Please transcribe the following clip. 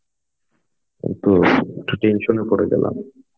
তো একটু tension এ পরে গেলাম.